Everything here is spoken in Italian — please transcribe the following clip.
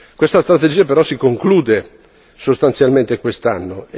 Questa strategia però si conclude sostanzialmente quest'anno.